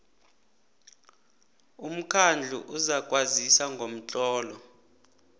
umkhandlu uzakwazisa ngomtlolo